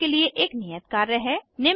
यहाँ आपके लिए एक नियत कार्य है